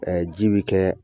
ji be kɛɛ